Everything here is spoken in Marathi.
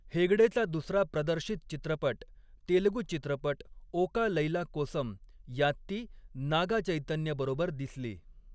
हेगडेचा दुसरा प्रदर्शित चित्रपट, तेलगू चित्रपट ओका लैला कोसम, यात ती नागा चैतन्यबरोबर दिसली.